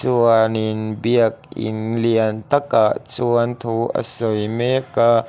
chuanin biakin lian takah chuan thu a sawi mek a.